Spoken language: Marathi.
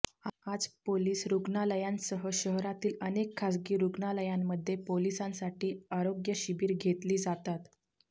आज पोलिस रुग्णालयांसह शहरातील अनेक खासगी रुग्णालयांमध्ये पोलिसांसाठी आरोग्य शिबिरं घेतली जातात